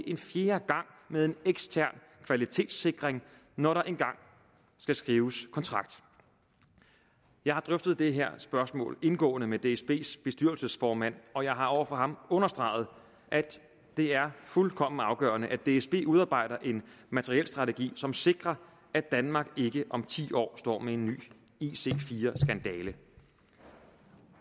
en fjerde gang med en ekstern kvalitetssikring når der engang skal skrives kontrakt jeg har drøftet det her spørgsmål indgående med dsbs bestyrelsesformand og jeg har over for ham understreget at det er fuldkommen afgørende at dsb udarbejder en materielstrategi som sikrer at danmark ikke om ti år står med en ny ic4 skandale